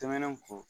Tɛmɛnen kɔ